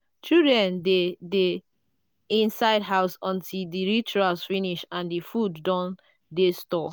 children dey dey inside house until di rituals finish and di food don dey store